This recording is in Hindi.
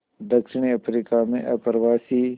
दक्षिण अफ्रीका में अप्रवासी